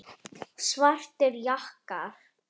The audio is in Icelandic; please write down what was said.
Svartir jakkar.